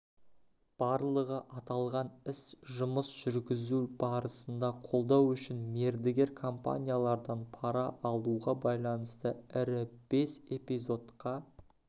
барлығы аталған іс жұмыс жүргізу барысында қолдау үшін мердігер компаниялардан пара алуға байланысты ірі бес эпизодқа